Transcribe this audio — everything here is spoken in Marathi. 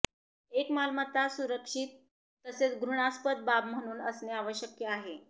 एक मालमत्ता सुरक्षित तसेच घृणास्पद बाब म्हणून असणे आवश्यक आहे